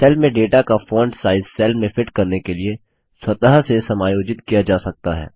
cell में data का font size cell में फिट करने के लिए स्वतः से समायोजित किया जा सकता है